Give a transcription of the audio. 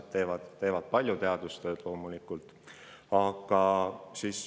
NASA teadlased teevad palju teadustööd.